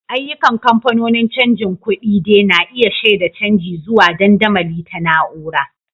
Ayyukan kamfanonin canjin kuɗi de na iya shaida canji zuwa dandamali ta na'ura.